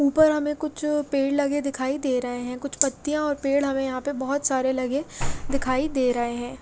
उपर हमे कुछ पेड़ लगे दिखाई दे रहे है कुछ पपत्तिया या और पेड़ हमे यहाँ पे बोहोत सारे लगे दिखाई दे रहे है।